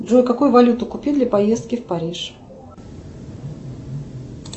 джой какую валюту купить для поездки в париж